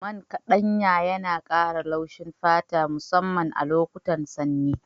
Man ƙaɗanya yana ƙara laushin fata musamman lokutan sanyi.